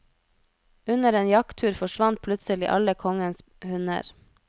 Under en jakttur forsvant plutselig alle kongens hunder.